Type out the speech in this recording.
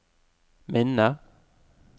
minne